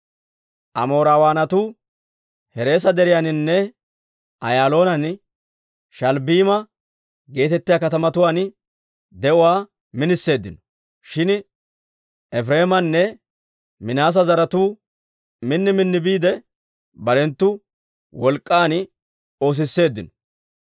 Amoorawaanatu Hereesa Deriyaaninne Ayaaloonanne Sha'albbiima geetettiyaa katamatuwaan de'uwaa miniseeddino; shin Efireemanne Minaase zaratuu min minniide biide, barenttoo wolk'k'an oosisseeddino.